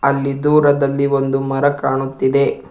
ಅಲ್ಲಿ ದೂರದಲ್ಲಿ ಒಂದು ಮರ ಕಾಣುತ್ತಿದೆ.